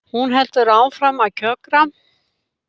Hún heldur áfram að kjökra.